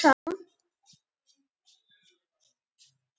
Alma pantaði strax tíma.